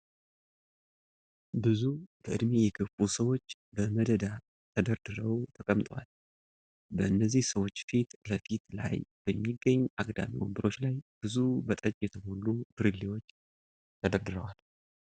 ብዙ በእድሜ የገፉ ሰዎች በመደዳ ተደርድረው ተቀምጠዋል። በነዚህ ሰዎች ፊት ለፊት ላይ በሚገኝ አግዳሚ ወንበሮች ላይ ብዙ በጠጅ የተሞሉ ብርሌዎች ተደርድረዋል።